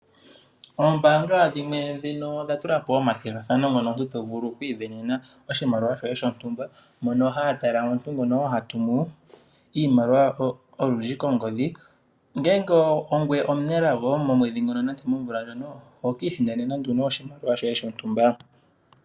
Oombaanga dhimwe odha tula po omathigathano ngoka omuntu to vulu oku isindanena oshimaliwa shoye shontumba, ota ya tala omuntu ngoka ha tumu iimaliwa olundji kongodhi. Ngele ongoye omunelago momwedhi nenge momumvo ngono, oho ki isindanena nduno oshimaliwa shoye.